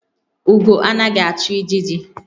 Ugo anaghi achu ijiji